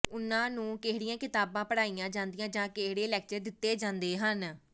ਉਨ੍ਹਾਂ ਨੂੰ ਕਿਹੜੀਆਂ ਕਿਤਾਬਾਂ ਪੜਾਂਈਆਂ ਜਾਂਦੀਆਂ ਜਾਂ ਕਿਹੜੇ ਲੈਕਚਰ ਦਿੱਤੇ ਜਾਂਦੇ ਹਨ